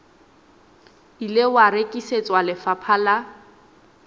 ile wa rekisetswa lefapha la